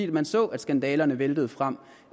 man så at skandalerne væltede frem